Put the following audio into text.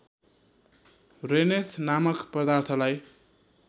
rennet नामक पदार्थलाई